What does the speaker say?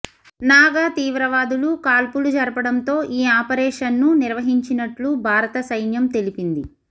నాగా తీవ్రవాదులు కాల్పులు జరపడంతో ఈ ఆపరేషన్ను నిర్వహించినట్లు భారత సైన్యం తెలిపింది